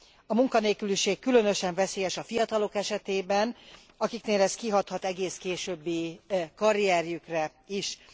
A munkanélküliség különösen veszélyes a fiatalok esetében, akiknél ez kihathat egész későbbi karrierjükre is.